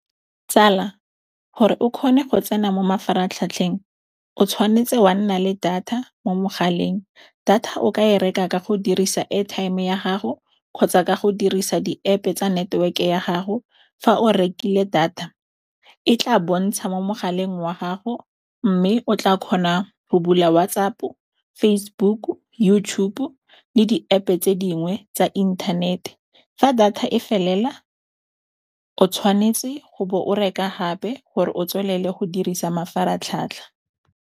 Tsala gore o kgone go tsena mo mafaratlhatlheng o tshwanetse wa nna le data mo mogaleng. Data o ka e reka ka go dirisa airtime ya gago kgotsa ka go dirisa di-App-e tsa network ya gago, fa o rekile data e tla bontsha mo mogaleng wa gago mme o tla kgona go bula WhatsApp-o, Facebook-u, YouTube le di-App tse dingwe tsa inthanete. Fa data e felela o tshwanetse go bo o reka gape gore o tswelele go dirisa mafaratlhatlha.